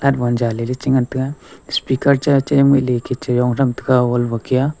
te ngan taiga speaker cha ngoi ley .]